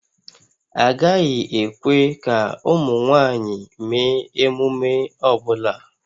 Agaghị ekwe ka ụmụ nwanyị mee emume ọ bụla